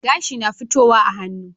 Gashi na fitowa a hannu